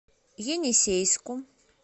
енисейску